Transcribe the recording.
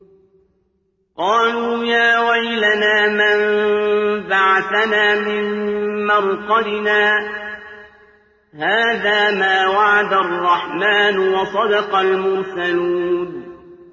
قَالُوا يَا وَيْلَنَا مَن بَعَثَنَا مِن مَّرْقَدِنَا ۜۗ هَٰذَا مَا وَعَدَ الرَّحْمَٰنُ وَصَدَقَ الْمُرْسَلُونَ